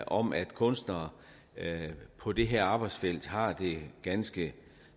om at kunstnere på det her arbejdsfelt har det ganske